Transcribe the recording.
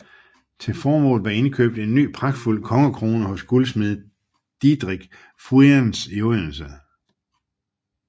Til formålet var indkøbt en ny pragtfuld kongekrone hos guldsmed Didrik Fuirens i Odense